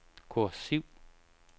kursiv